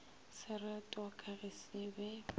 seretwa ka ge se be